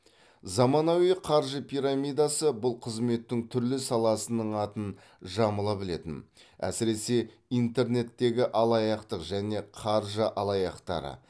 заманауи қаржы пирамидасы бұл қызметтің түрлі саласының атын жамыла білетін әсіресе интернеттегі алаяқтық және қаржы алаяқтары